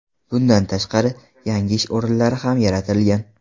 Bundan tashqari, yangi ish o‘rinlari ham yaratilgan.